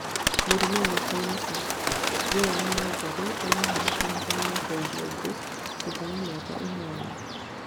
mũrimũ wa kansa: Joan Wangari arahona kansa ya rwariũngũ thutha wa mĩaka ĩnana